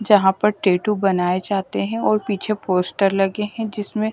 जहां पर टैटू बनाए जाते हैं और पीछे पोस्टर लगे हैं जिसमें --